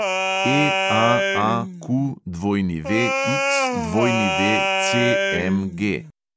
EAAQWXWCMG